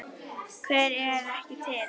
Hver er ekki til?